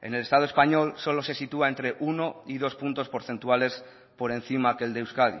en el estado español solo se sitúa entre uno y dos puntos porcentuales por encima que el de euskadi